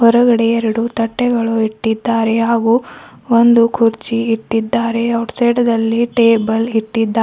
ಹೊರಗಡೆ ಎರಡು ತಟ್ಟೆಗಳು ಇಟ್ಟಿದ್ದಾರೆ ಹಾಗು ಒಂದು ಕುರ್ಚಿ ಇಟ್ಟಿದ್ದಾರೆ ಔಟ್ ಸೈಡ್ ದಲ್ಲಿ ಟೇಬಲ್ ಇಟ್ಟಿದ್ದಾ--